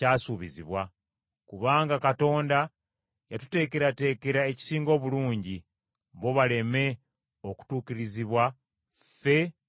Kubanga Katonda yatuteekerateekera ekisinga obulungi, bo baleme okutuukirizibwa ffe nga tetuliiwo.